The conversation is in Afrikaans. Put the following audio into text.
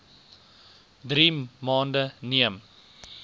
drie maande neem